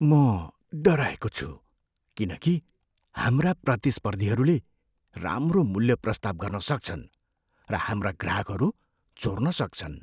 म डराएको छु किन कि हाम्रा प्रतिस्पर्धीहरूले राम्रो मूल्य प्रस्ताव गर्न सक्छन् र हाम्रा ग्राहकहरू चोर्न सक्छन्।